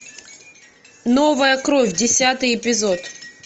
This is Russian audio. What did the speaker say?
новая кровь десятый эпизод